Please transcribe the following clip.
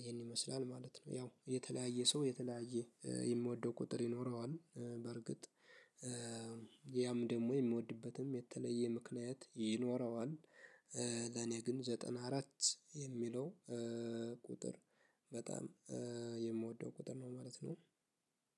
ይሄን ይመስላል ማለት ነው። ያው የተለያየ ሰው የተለያየ የሚወደው ቁጥር ይኖረዋል በርግጥ፤ ያም ደግሞ የሚወድበትም የተለየ ምክንያት ይኖረዋል። ለኔ ግን ዘጠና አራት የሚለው ቁጥር በጣም የምወደው ቁጥር ነው ማለት ነው።